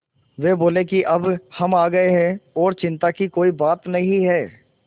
वे बोले कि अब हम आ गए हैं और चिन्ता की कोई बात नहीं है